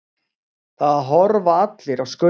Það horfa allir á Skaupið.